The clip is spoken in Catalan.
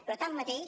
però tanmateix